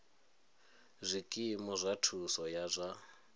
zwikimu zwa thuso ya zwa